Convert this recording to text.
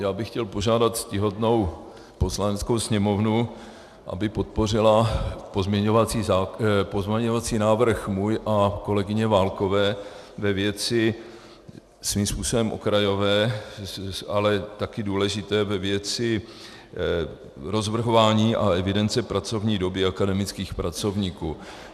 Já bych chtěl požádat ctihodnou Poslaneckou sněmovnu, aby podpořila pozměňovací návrh můj a kolegyně Válkové ve věci svým způsobem okrajové, ale taky důležité, ve věci rozvrhování a evidence pracovní doby akademických pracovníků.